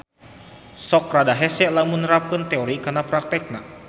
Sok rada hese lamun nerapkeun teori kana praktekna